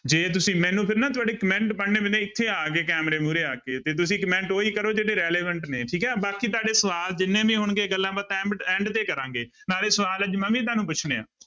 ਜੇ ਤੁਸੀਂ ਮੈਨੂੰ ਫਿਰ ਨਾ ਤੁਹਾਡੇ comment ਪੜ੍ਹਨੇ ਪੈਂਦੇ ਆ ਇੱਥੇ ਆ ਕੇ ਕੈਮਰੇ ਮੂਹਰੇ ਆ ਕੇ ਤੇ ਤੁਸੀਂ comment ਉਹੀ ਕਰੋ ਜਿਹੜੇ relevant ਨੇ ਠੀਕ ਹੈ ਬਾਕੀ ਤੁਹਾਡੇ ਸਵਾਲ ਜਿੰਨੇ ਵੀ ਹੋਣਗੇ ਗੱਲਾਂਬਾਤਾਂ end end ਤੇ ਕਰਾਂਗੇ, ਨਾਲੇ ਸਵਾਲ ਅੱਜ ਮੈਂ ਵੀ ਤੁਹਾਨੂੰ ਪੁੱਛਣੇ ਹੈ।